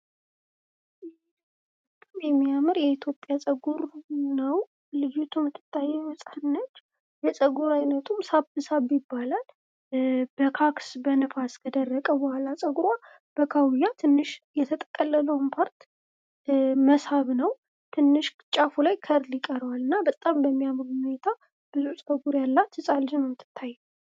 የሚያምር የኢትዮጵያ ጸጉር ነው። ልዩ የምትታየን ህጻን ነች። የጸጉር አይነቱም ሳብሳብ ይባላል። በካክስ በነፋስ ከደረቀ በኋላ ጸጉሯ በካውያ ትንሽ የተጠቀለለውን ፓርት መሳብ ነው ትንሽ ጫፉ ላይ ከርብ ይቀረዋል እና በጣም በሚያምር ሁኔታ ብዙ ጸጉር ያላት ህጻን ልጅ ናት የምትታየኝ።